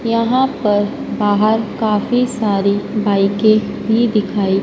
यहां पर बाहर काफी सारी बाईकें भी दिखाई--